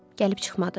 Gəlib çıxmadı.